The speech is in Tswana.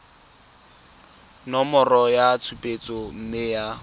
nomoro ya tshupetso mme ya